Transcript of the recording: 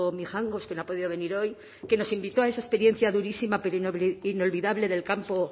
mijangos que no ha podido venir hoy que nos invitó a esa experiencia durísima pero inolvidable del campo